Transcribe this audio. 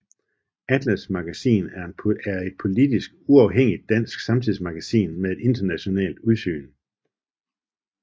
ATLAS Magasin er et politisk uafhængigt dansk samtidsmagasin med et internationalt udsyn